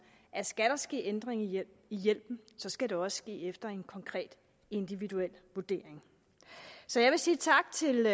at skal der ske ændring i i hjælpen skal det også ske efter en konkret individuel vurdering så jeg vil sige tak til